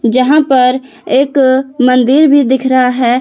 जहां पर एक मंदिर भी दिख रहा है।